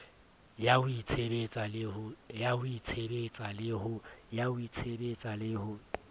ya ho itshebetsa le ho